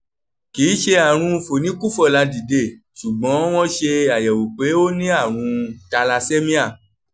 kì í ṣe àrùn fòníkú-fọ̀la-dìde ṣùgbọ́n wọ́n ṣe àyẹ̀wò pé ó ní àrùn thalassemia